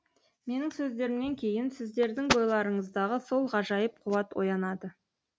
менің сөздерімнен кейін сіздердің бойларыңыздағы сол ғажайып қуат оянады